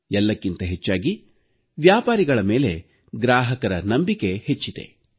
ಎಲ್ಲಕ್ಕಿಂತ ಹೆಚ್ಚಾಗಿ ವ್ಯಾಪಾರಿಗಳ ಮೇಲೆ ಗ್ರಾಹಕರ ನಂಬಿಕೆ ಹೆಚ್ಚಿದೆ